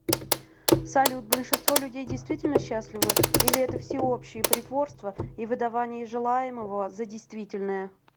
салют большинство людей действительно счастливы или это всеобщее притворство и выдавание желаемого за действительное